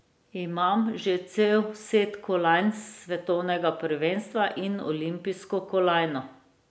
Imam že cel set kolajn s svetovnega prvenstva in olimpijsko kolajno.